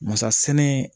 Masa sɛnɛ